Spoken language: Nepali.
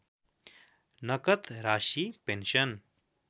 नकद राशि पेन्सन